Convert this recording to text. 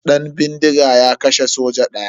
Dan bindiga ya kashe soja daya.